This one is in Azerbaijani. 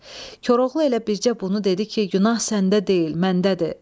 Koroğlu elə bircə bunu dedi ki, günah səndə deyil, məndədir.